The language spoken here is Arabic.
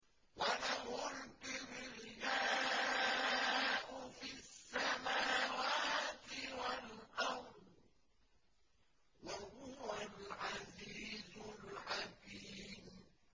وَلَهُ الْكِبْرِيَاءُ فِي السَّمَاوَاتِ وَالْأَرْضِ ۖ وَهُوَ الْعَزِيزُ الْحَكِيمُ